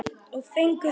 Og fengið þau.